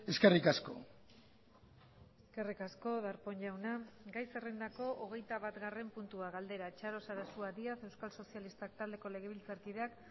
eskerrik asko eskerrik asko darpón jauna gai zerrendako hogeitabatgarren puntua galdera txaro sarasua díaz euskal sozialistak taldeko legebiltzarkideak